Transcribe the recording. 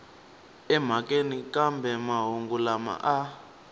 emhakeni kambe mahungu lama a